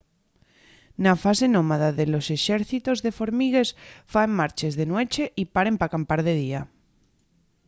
na fase nómada los exércitos de formigues faen marches de nueche y paren p’acampar de día